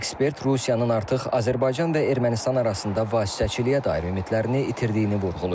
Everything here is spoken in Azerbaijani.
Ekspert Rusiyanın artıq Azərbaycan və Ermənistan arasında vasitəçiliyə dair ümidlərini itirdiyini vurğulayıb.